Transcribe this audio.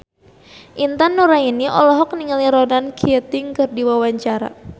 Intan Nuraini olohok ningali Ronan Keating keur diwawancara